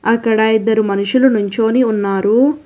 అక్కడ ఇద్దరు మనుషులు నించోని ఉన్నారు.